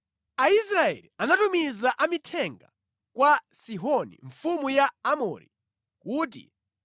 Aisraeli anatumiza amithenga kwa Sihoni mfumu ya Aamori, kuti,